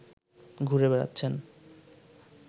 ঘুরে বেড়াচ্ছেনে